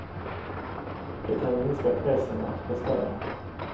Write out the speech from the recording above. Det kan minska pressen att prestera.